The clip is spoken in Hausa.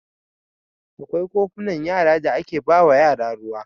Akwai kofunan yara da ake ba wa yara ruwa.